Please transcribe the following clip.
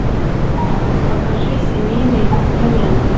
покажи семейные инструменты